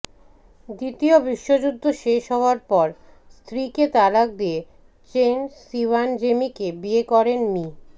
দ্বিতীয় বিশ্বযুদ্ধ শেষ হওয়ার পর স্ত্রীকে তালাক দিয়ে চেন শিয়ানজেমিকে বিয়ে করেন মি